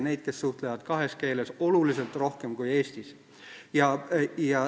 Neid, kes suhtlevad kahes keeles, on aga tunduvalt rohkem kui Eestis.